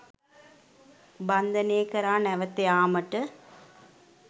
බන්ධනය කරා නැවත යාමට